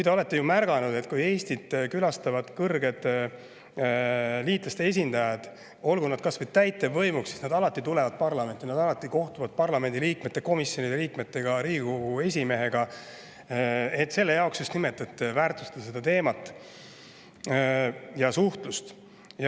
Te olete ehk märganud, et kui Eestit külastavad liitlaste kõrged esindajad, olgu nad kas või täitevvõimust, siis nad alati tulevad parlamenti ja kohtuvad parlamendiliikmete, komisjonide liikmete ja Riigikogu esimehega, just nimelt selle pärast, et väärtustada seda teemat ja suhtlust.